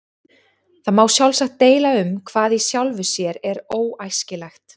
Það má sjálfsagt deila um hvað í sjálfu sér er óæskilegt.